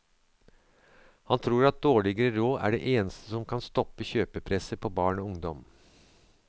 Han tror at dårligere råd er det eneste som kan stoppe kjøpepresset på barn og ungdom.